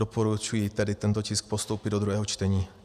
Doporučuji tedy tento tisk postoupit do druhého čtení.